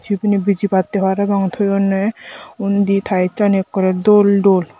ibini bejibatte parapang toyunne undi tiles ani ekkore dol dol.